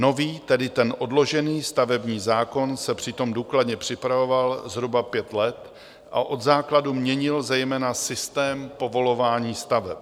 Nový, tedy ten odložený stavební zákon se přitom důkladně připravoval zhruba pět let a od základu měnil zejména systém povolování staveb.